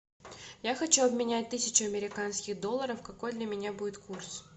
я хочу обменять тысячу американских долларов какой для меня будет курс